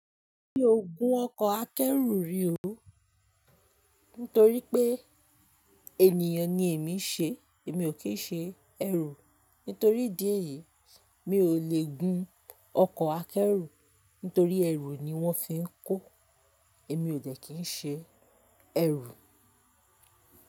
Mi ò gun ọkọ̀ akẹ́rù rí o, nítorí pé ènìyàn ni èmi ṣe èmi ò kì í ṣe ẹrú. Nítorí ìdí èyí, mi ò le gun ọkọ̀ akẹ́rù, nítorí ẹrú ni wọ́n fi ń kó. Èmi ò dẹ̀ kín ṣe ẹrú.